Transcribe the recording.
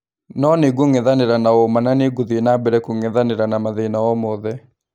No nĩngũng'ethanĩra na ũma na nĩngũthiĩ na mbere kũng'ethanĩra na mathĩna o mothe.